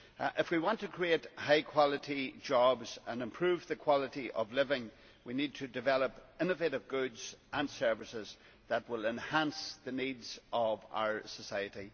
If we want to create high quality jobs and improve the quality of life, we need to develop innovative goods and services that will enhance the needs of our society.